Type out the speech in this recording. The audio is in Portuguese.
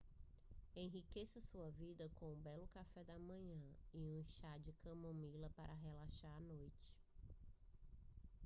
enriqueça sua vida com um belo café da manhã e um chá de camomila para relaxar à noite